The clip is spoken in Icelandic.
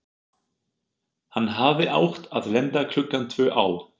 Hann hafði átt að lenda klukkan tvö á